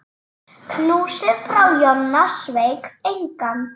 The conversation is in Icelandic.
Knúsið frá Jonna sveik engan.